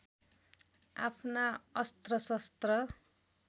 आफ्ना अस्त्र शस्त्र